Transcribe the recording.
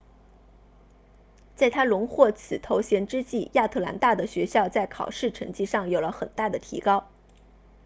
在她荣获此头衔之际亚特兰大的学校在考试成绩上有了很大的提高